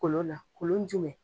Kolon na kolon jumɛn